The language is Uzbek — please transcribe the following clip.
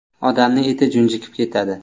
Odamni eti junjikib ketadi.